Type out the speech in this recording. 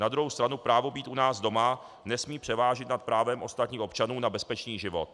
Na druhou stranu právo být u nás doma nesmí převážit nad právem ostatních občanů na bezpečný život.